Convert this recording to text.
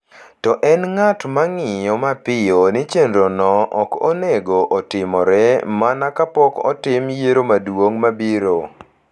To en ng’at ma ng’iyo mapiyo ni chenrono ok onego otimore mana kapok otim yiero maduong’ mabiro.